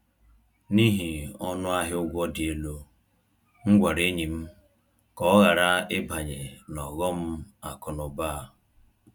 N’ihi ọnụ ahịa ụgwọ dị elu, m gwara enyi m ka ọ ghara ịbanye n’ọghọm akụ na ụba a.